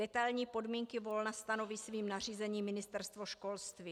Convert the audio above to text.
Detailní podmínky volna stanoví svým nařízením Ministerstvo školství.